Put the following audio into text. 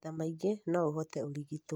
maita maingĩ no ũhote ũrigitwo